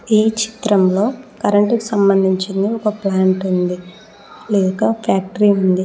ఈ చిత్రంలో కరెంటు సంబంధించిన ఒక ప్లాంట్ ఉంది లేక ఫ్యాక్టరీ ఉంది.